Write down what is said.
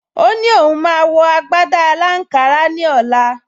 O ní òun máa wọ agbádá aláǹkárá ní ọ̀la